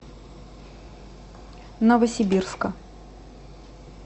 новосибирска